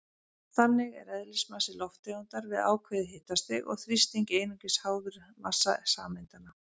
Þannig er eðlismassi lofttegundar við ákveðið hitastig og þrýsting einungis háður massa sameindanna.